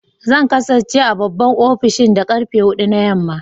Zan kasance a babban ofishin da karfe hudu na yamma